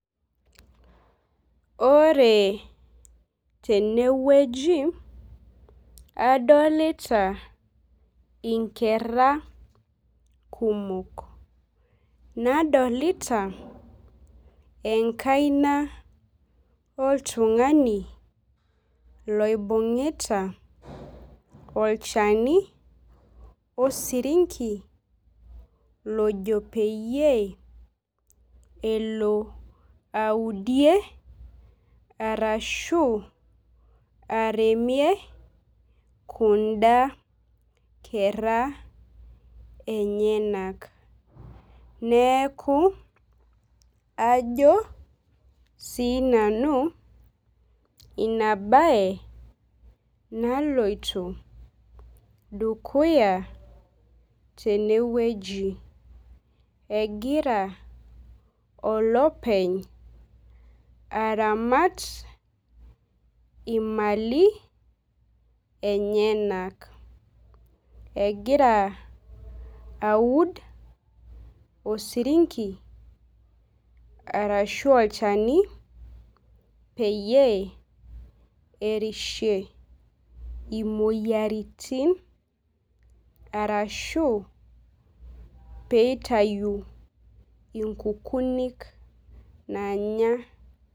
Ore teneweji adolita inkera kumok. Nadolita enkaina oltung'ani loibungu'ita olchani osirinki lojo peyie elo audie arshu aremie kuda kera enyenak. Neeku ajo sii nanu ina bae naloito dukuya teneweji. Egira olopeny aramat ii mali enyenak. Egira aud osirinki arashu olchani peyie erishie imoyiaritin arashu pee itayu inkukunik nanya.